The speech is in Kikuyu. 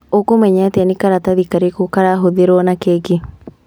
Ũkũmenya atĩa nĩ karatathi karĩkũ karahũthĩrwo na keki